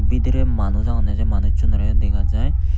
bidire manuj agonne se manusunorey yo dega jai.